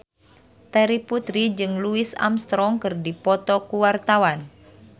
Terry Putri jeung Louis Armstrong keur dipoto ku wartawan